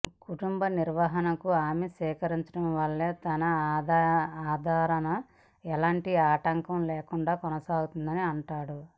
కుటుంబ నిర్వహణను ఆమె స్వీకరించడం వల్లనే తన ఆరాధన ఎలాంటి ఆటంకం లేకుండా కొనసాగిందని అంటాడు